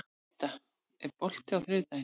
Meda, er bolti á þriðjudaginn?